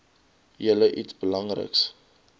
julle iets belangriks